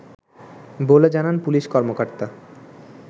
বলে জানান পুলিশ কর্মকর্ত